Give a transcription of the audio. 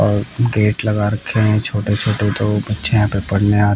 और गेट लगा रखे है छोटे छोटे दो बच्चे यहां पे पढ़ने आ--